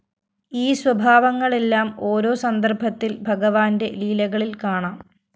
ഈ സ്വഭാവങ്ങളെല്ലാം ഓരോ സന്ദര്‍ഭത്തില്‍ ഭഗവാന്റെ ലീലകളില്‍ കാണാം